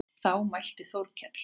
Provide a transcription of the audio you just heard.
Þá mælti Þórkell